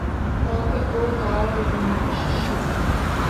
Prav tako dajejo v nič šiite.